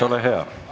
Aitäh!